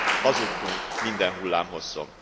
hazudtunk minden hullámhosszon.